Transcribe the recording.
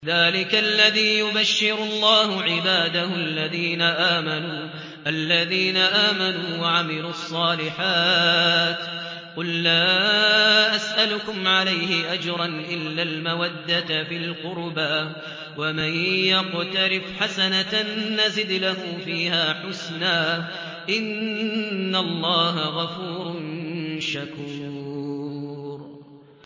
ذَٰلِكَ الَّذِي يُبَشِّرُ اللَّهُ عِبَادَهُ الَّذِينَ آمَنُوا وَعَمِلُوا الصَّالِحَاتِ ۗ قُل لَّا أَسْأَلُكُمْ عَلَيْهِ أَجْرًا إِلَّا الْمَوَدَّةَ فِي الْقُرْبَىٰ ۗ وَمَن يَقْتَرِفْ حَسَنَةً نَّزِدْ لَهُ فِيهَا حُسْنًا ۚ إِنَّ اللَّهَ غَفُورٌ شَكُورٌ